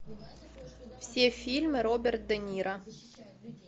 все фильмы роберт де ниро